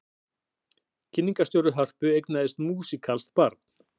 Kynningarstjóri Hörpu eignaðist músíkalskt barn